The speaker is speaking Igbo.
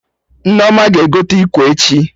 Nneoma ga-egote ikwe echi